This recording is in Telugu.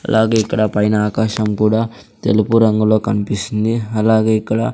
అలాగే ఇక్కడ పైన ఆకాశం కూడా తెలుపు రంగులో కనిపిస్తుంది అలాగే ఇక్కడ.